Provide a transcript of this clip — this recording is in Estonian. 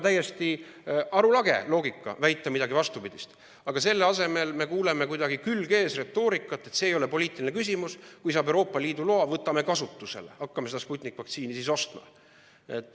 Täiesti arulage loogika on väita midagi vastupidist, aga selle asemel me kuuleme kuidagi külg-ees-retoorikat, et see ei ole poliitiline küsimus, kui saab Euroopa Liidu loa, võtame kasutusele, hakkame seda Sputniku vaktsiini ostma.